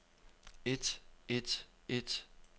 et et et